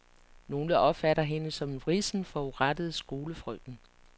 Nogle opfatter hende som en vrissen, forurettet skolefrøken.